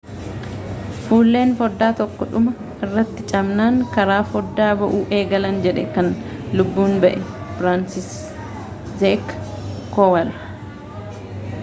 fulleen foddaa tokko dhuma irratti cabnaan karaa foddaa ba'uu eegalan jedhe kan lubbuun ba'e firansiiszeek koowal